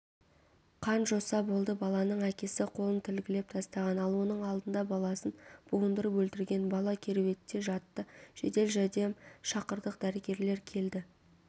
қан-жоса болды баланың әкесі қолын тілгілеп тастаған ал оның алдында баласын буындырып өлтірген бала кереуетте жатты жедел жәрдем шақырдық дәрігерлер келді